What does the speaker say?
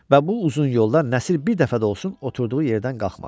Və bu uzun yolda Nəsir bir dəfə də olsun oturduğu yerdən qalxmadı.